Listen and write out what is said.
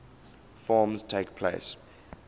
forms takes place